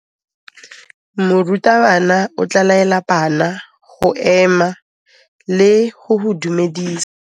Morutabana o tla laela bana go ema le go go dumedisa.